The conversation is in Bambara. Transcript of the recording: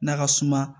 N'a ka suma